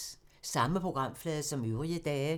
Samme programflade som øvrige dage